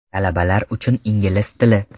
Talabalar uchun ingliz tili.